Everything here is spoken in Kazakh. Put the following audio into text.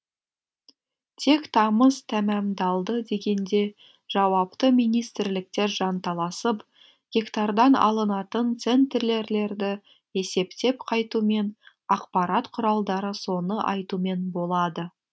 тек тамыз тәмамдалды дегенде жауапты министрліктер жанталасып гектардан алынатын центнерлерді есептеп қайтумен ақпарат құралдары соны айтумен болады